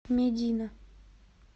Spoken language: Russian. медина